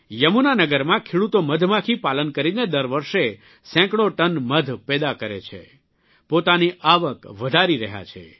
યમુનાનગરમાં ખેડૂતો મધમાખી પાલન કરીને દર વર્ષે સેંકડો ટન મધ પેદા કરે છે પોતાની આવક વધારી રહ્યા છે